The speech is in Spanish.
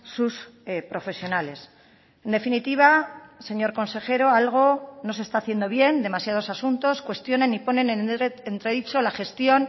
sus profesionales en definitiva señor consejero algo no se está haciendo bien demasiados asuntos cuestionan y ponen en entredicho la gestión